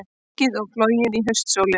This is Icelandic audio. Gengið og flogið í haustsólinni